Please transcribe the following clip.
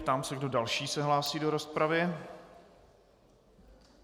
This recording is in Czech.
Ptám se, kdo další se hlásí do rozpravy.